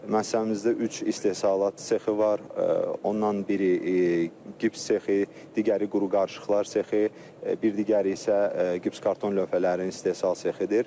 Müəssisəmizdə üç istehsalat sexi var, ondan biri gips sexi, digəri quru qarışıqlar sexi, bir digəri isə gipskarton lövhələrinin istehsal sexidir.